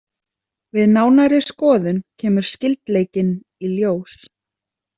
Við nánari skoðun kemur skyldleikinn í ljós.